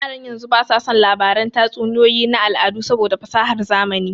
Yaran yanzu ba su son labaran tatsuniyoyi na al'adu saboda fasahar zamani